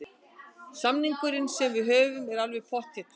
Samningurinn sem við höfum er alveg pottþéttur.